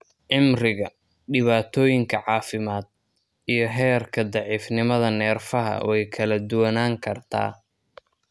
Cimriga, dhibaatooyinka caafimaad, iyo heerka daciifnimada neerfaha way kala duwanaan kartaa.